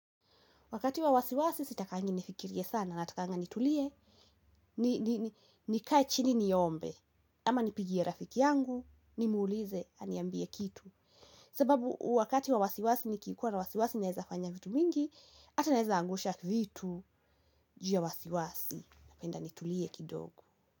Wakati wa wasiwasi sitakangi nifikirie sana natakanga nitulie. Nikae chini niombe ama nipigie rafiki yangu ni muulize aniambie kitu. Sababu wakati wa wasiwasi nikikuwa na wasiwasi naeza fanya vitu vingi ata naeza angusha vitu juu wasiwasi na penda nitulie kidogo.